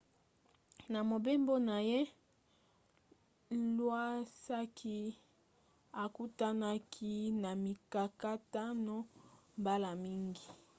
na mobembo na ye iwasaki akutanaki na mikakatano mbala mingi